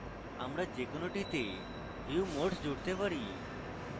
আমরা যে কোনোটিতে view modes জুড়তে পারি